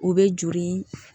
O bɛ joli